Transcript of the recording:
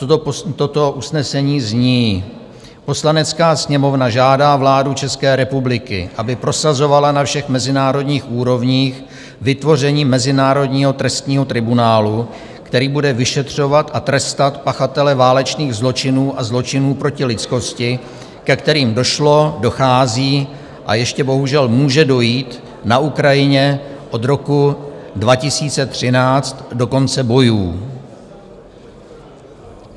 Toto usnesení zní: "Poslanecká sněmovna žádá vládu České republiky, aby prosazovala na všech mezinárodních úrovních vytvoření mezinárodního trestního tribunálu, který bude vyšetřovat a trestat pachatele válečných zločinů a zločinů proti lidskosti, ke kterým došlo, dochází a ještě bohužel může dojít na Ukrajině od roku 2013 do konce bojů."